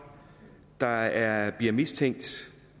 der bliver mistænkt